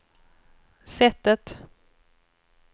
sättet